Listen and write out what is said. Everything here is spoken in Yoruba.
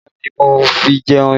Ẹmúga ni mo fi jẹ iṣu